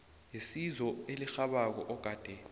yesizo elirhabako ogade